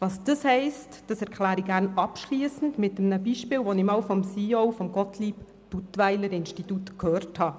Was das heisst, erkläre ich gern abschliessend mit einem Beispiel, das ich einmal vom CEO des Gottlieb Duttweiler Instituts (GDI) gehört habe.